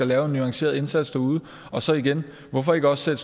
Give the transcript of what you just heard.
lave en nuanceret indsats og så igen hvorfor ikke også